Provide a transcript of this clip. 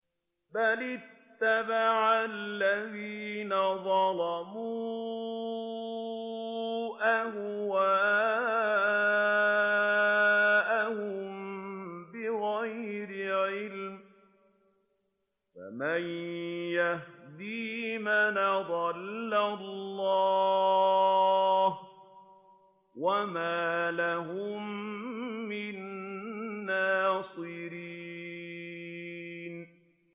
بَلِ اتَّبَعَ الَّذِينَ ظَلَمُوا أَهْوَاءَهُم بِغَيْرِ عِلْمٍ ۖ فَمَن يَهْدِي مَنْ أَضَلَّ اللَّهُ ۖ وَمَا لَهُم مِّن نَّاصِرِينَ